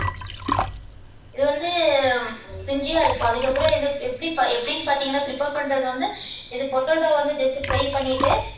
இது வந்து crunchy ஆ இருக்கும் அதுக்கப்புறம் எப்படி எப்படின்னு பாத்தீங்கன்னா prepare பண்றது வந்து இது potato வந்துட்டு just fry பண்ணிட்டு